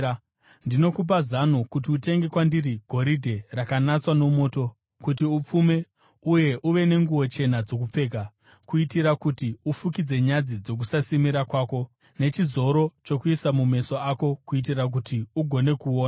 Ndinokupa zano kuti utenge kwandiri goridhe rakanatswa nomoto, kuti upfume; uye uve nenguo chena dzokupfeka, kuitira kuti ufukidze nyadzi dzokusasimira kwako; nechizoro chokuisa mumeso ako, kuitira kuti ugone kuona.